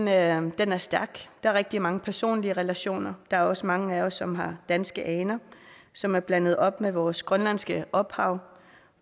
er stærk der er rigtig mange personlige relationer der er også mange af os som har danske aner som er blandet op med vores grønlandske ophav